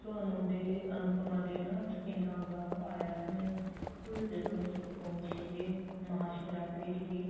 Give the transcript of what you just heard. ਅਨੂ ਦੇ ਅਨੁਪਮਾ ਦੇ ਨਾ ਚ ਕਿੰਨਾ ਗਾਹ ਪਾਇਆ ਇਹਨਾ ਨੇ ਉਹ ਸੀਗੇ ਮਹਾਸ਼ਿਵਰਾਤਰੀ ਸੀਗੀ